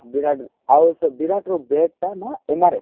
ବିରାଟ ଆଉ ବିରାଟ ର bat ଟା ନା MRF